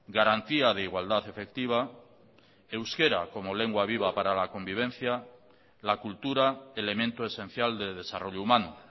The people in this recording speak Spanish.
garantía de igualdad efectiva euskera como lengua viva para la convivencia la cultura elemento esencial de desarrollo humano